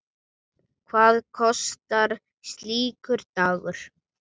Hvað kostar slíkur dagur?